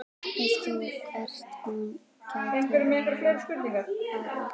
Veist þú hvert hún gæti hafa farið?